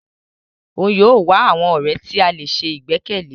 Òún yóò wá àwọn ọrẹ ti a lè sè igbẹkẹle.